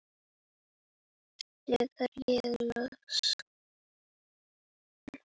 sagði ég loks.